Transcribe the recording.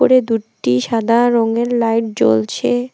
উপরে দুট্টি সাদা রঙের লাইট জ্বলছে।